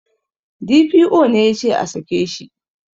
D.P.O ne yace a sake shi